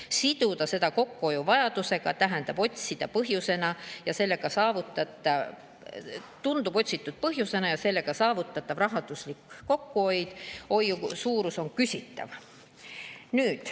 Siduda seda kokkuhoiu vajadustega tundub otsitud põhjendusena ja sellega saavutatav rahandusliku kokkuhoiu suurus on küsitav.